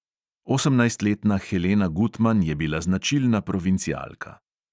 Osemnajstletna helena gutman je bila značilna provincialka.